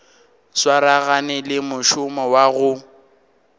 swaragane le mošomo wa go